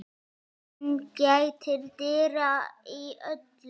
Syn gætir dyra í höllum